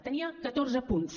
tenia catorze punts